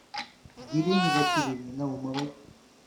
елене васильевне наумовой